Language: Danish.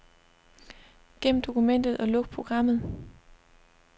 Gem dokumentet og luk programmet.